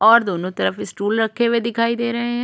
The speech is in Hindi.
और दोनों तरफ स्टूल रखे हुए दिखाई दे रहै हैं।